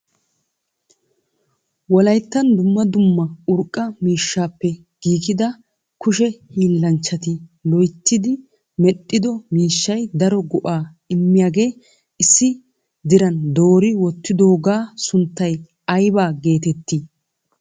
Wolayttan dumma dumma urqqa miishshappe giiggida kushshee hiillanchchati loyttidi medhdhido miishshay daro go"a immiyaaga issi diran doori wottidooga sunttay aybba geetetti?